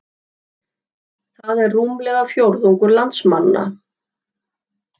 Það er rúmlega fjórðungur landsmanna